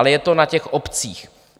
Ale je to na těch obcích.